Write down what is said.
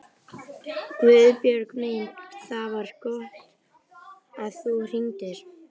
Guðbjörg mín, það var gott að þú hringdir.